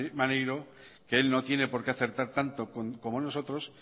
maneiro que él no tiene porqué acertar tanto como nosotros